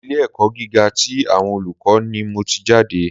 Ilé ẹ̀kọ́ gíga tí àwọn olùkọ́ ni mò tí jáde.